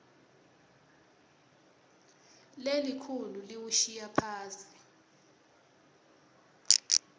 lelikhulu liwushiya phasi